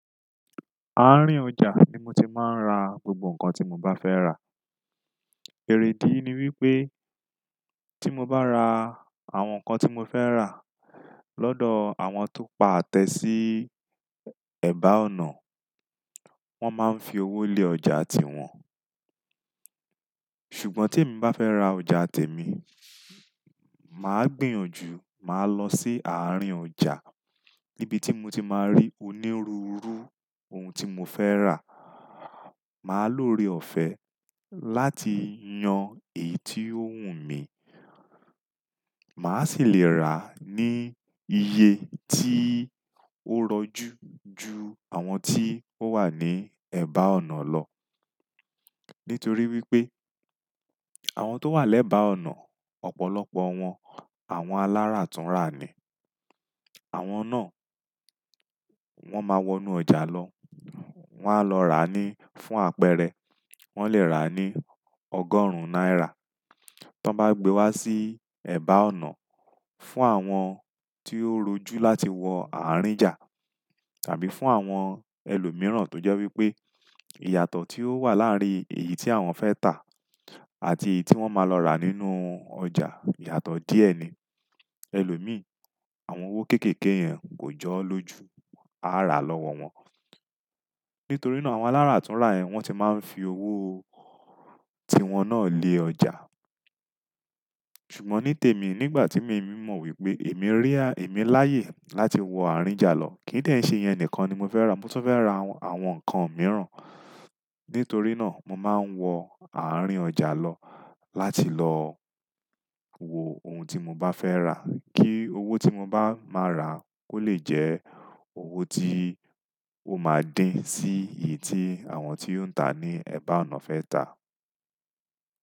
Àárín ọjà ni mo ti máa ń ra gbogbo nǹkan tí mo bá fẹ́ rà. Èridí ni wípé tí mo bá ra àwọn nǹkan tí mo fẹ́ rà lọ́dọ̀ àwọn tó pa àtẹ́ sí ẹ̀gbá ọ̀nà, wón máa ń fi owó lé ọjà tiwọn. Ṣùgbọ́n te mi bá fẹ́ ra ọjà tẹ̀mí, màá gbìyànjú, màá lọ sí àárín ọjà níbi tí mo ti máa rí onírúurú ohun tí mo fẹ́ rà. Màá lóore ọ̀fẹ́ láti yan èyí tí ó wù mí, màá sì le rà ní iye tí ó rọjú ju àwọn tí ó wà ní ẹ̀gbá ọ̀nà lọ. Nítorí wípé àwọn tó wà lẹ́gbá ọ̀nà, ọ̀pọ̀lọpọ̀ wọn àwọn alárà tuntun rà ni. Àwọn náà wọ́n máa wọnú ọjà lọ, wọ́n á lọ rà á ní fún àpẹẹrẹ wọ́n lè rà á ní ọgọ́rùn náírà, tí wọ́n bá gbé wá sí ẹ̀gbá ọ̀nà fún àwọn tí ó rojú láti wọ àárín ọjà tàbí fún àwọn ẹlòmíràn tó jẹ́ wípé ìyàtọ̀ tí ó wà láàrin èyí tí àwọn fẹ́ tà àti èyí tí wọ́n máa lọ rà nínú ọjà ìyàtọ̀ díẹ̀ ni. Ẹlòmí, àwọn owó kéékèèké yẹn kò jọ́ lóju, arà lọ́wọ́ wọn. Nítorí náà àwọn alárà tun rà yẹn wọ́n ti máa ń fi owó tí wọn náà lé ọjà. Ṣùgbọ́n ní tèmi nígbà tí emi mọ̀ wípé èmi rí, èmi láyè láti wọ àárín ọjà lọ, kí nì dí ẹ ń ṣe ìyẹn nìkan ni mo fẹ́ rà, mo tún fẹ́ ra àwọn nǹkan mìíràn. Nítorí náà mo máa ń wọ àárín ọjà lọ láti lọ wo ohun tí mo bá fẹ́ rà kí owó tí mo bá máa rà kó lè jẹ́ owó tí ó máa dín sí èyí tí àwọn tí ó ń tà ní ẹ̀bá ọ̀nà fẹ́ tà.